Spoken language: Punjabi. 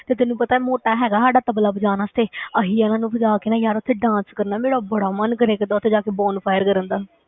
ਤੇ ਤੈਨੂੰ ਪਤਾ ਹੈ ਮੋਟਾ ਹੈਗਾ ਸਾਡਾ ਤਬਲਾ ਬਜਾਉਣ ਵਾਸਤੇ ਅਸੀਂ ਇਹਨਾਂ ਨੂੰ ਬਜਾ ਕੇ ਨਾ ਯਾਰ ਉੱਥੇ dance ਕਰਨਾ, ਮੇਰਾ ਬੜਾ ਮਨ ਕਰਿਆ ਕਰਦਾ ਉੱਥੇ ਜਾ ਕੇ bonfire ਕਰਨ ਦਾ